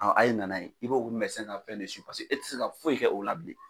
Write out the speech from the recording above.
A a' ye nana ye i bo o ka fɛn de pase e tɛ se ka foyi kɛ o la bilen.